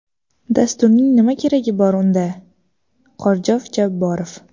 Dasturning nima keragi bor unda?” Qorjov Jabborov.